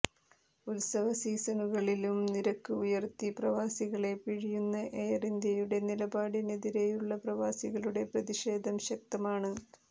ഉത്സവ സീസണുകളിലും നിരക്ക് ഉയര്ത്തി പ്രവാസികളെ പിഴിയുന്ന എയര് ഇന്ത്യയുടെ നിലപാടിനെതിരെയുള്ള പ്രവാസികളുടെ പ്രതിഷേധം ശക്തമാണ്